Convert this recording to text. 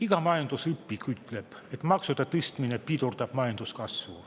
Iga majandusõpik ütleb, et maksude tõstmine pidurdab majanduskasvu.